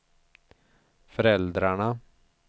föräldrarna